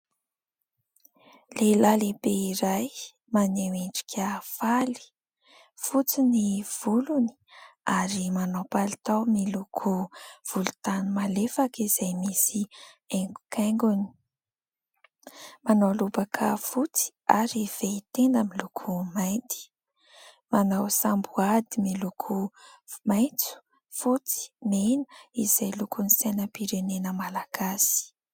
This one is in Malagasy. Lehilahy lehibe iray maneho endrika faly. Fotsy ny volony ary manao palitao miloko volontany malefaka izay misy haingo-kaingony. Manao lobaka fotsy ary fehy tenda miloko mainty. Manao samboady miloko maitso fotsy mena, izay lokon'ny sainam-pirenena malagasy.